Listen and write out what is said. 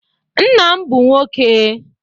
Nna m bụ nwoke